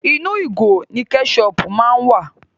Inú ìgò ni kẹ́ṣọpù má ń wà.